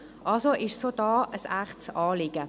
» Es ist somit auch hier ein echtes Anliegen.